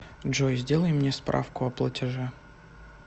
джой сделай мне справку о платеже